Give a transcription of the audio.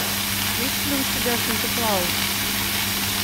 есть ли у тебя санта клаус